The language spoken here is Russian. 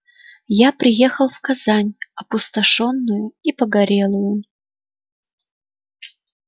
я приехал в казань опустошённую и погорелую